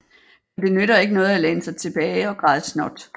For det nytter ikke noget at læne sig tilbage og græde snot